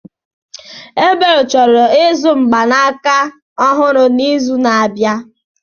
Ebel chọrọ ịzụ mgbanaka ọhụrụ n'izu na-abịa.